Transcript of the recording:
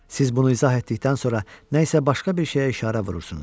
Siz bunu izah etdikdən sonra nə isə başqa bir şeyə işarə vurursunuz.